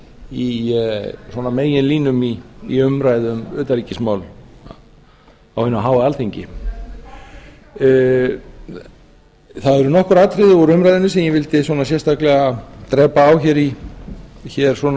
í svona meginlínum í umræðu um utanríkismál á hinu háa alþingi það eru nokkur atriði úr umræðunni sem ég vildi sérstaklega drepa á hér svona